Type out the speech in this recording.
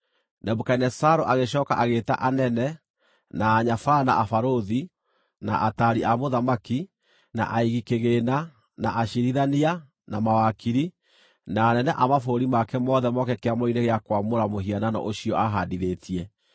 Nebukadinezaru agĩcooka agĩĩta anene, na anyabara, na abarũthi, na ataari a mũthamaki, na aigi kĩgĩĩna, na aciirithania, na mawakiri, na anene a mabũrũri make mothe moke kĩamũro-inĩ gĩa kwamũra mũhianano ũcio aahandithĩtie.